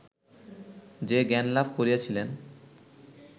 যে জ্ঞানলাভ করিয়াছিলেন